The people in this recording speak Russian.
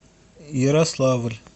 ярославль